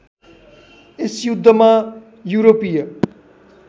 यस युद्धमा यूरोपीय